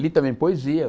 Li também poesia.